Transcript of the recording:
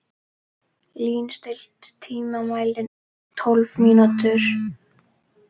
Lín, stilltu tímamælinn á tólf mínútur.